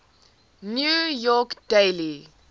new york daily